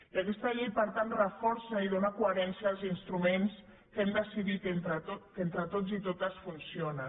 i aquesta llei per tant reforça i dóna coherència als instruments que hem decidit entre tots i totes que funcionen